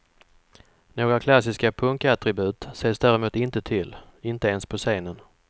Några klassiska punkattribut ses däremot inte till, inte ens på scenen.